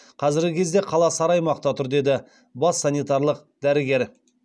қазіргі кезде қала сары аймақта тұр деді бас санитарлық дәрігер